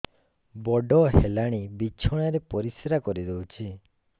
ବଡ଼ ହେଲାଣି ବିଛଣା ରେ ପରିସ୍ରା କରିଦେଉଛି